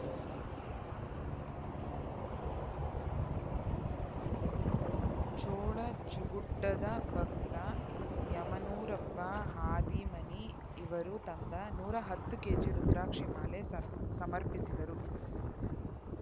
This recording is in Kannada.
ಚೊಳಚಗುಡ್ಡದ ಭಕ್ತ ಯಮನೂರಪ್ಪ ಹಾದಿಮನಿ ಇವರು ತಂದ ನೂರ ಹತ್ತು ಕೆಜಿ ರುದ್ರಾಕ್ಷಿಮಾಲೆ ಸಮರ್ಪಿಸಿದರು